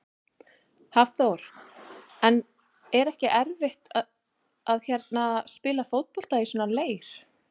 Hafþór: En er ekki erfitt að hérna, spila fótbolta í svona leir?